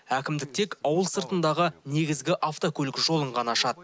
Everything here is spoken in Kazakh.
әкімдік тек ауыл сыртындағы негізгі автокөлік жолын ғана ашады